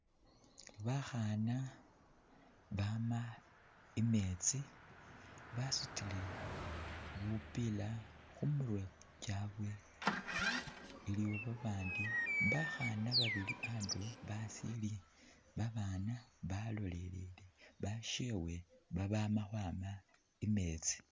Bakhaana bama i'meetsi, basutile bupiila khu mirwe kyabwe, iliwo babaandi bakhaana babili andulo abasiili abaana balolelele bashewe babama khwama i'meetsi.